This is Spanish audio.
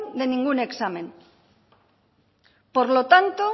de ningún examen por lo tanto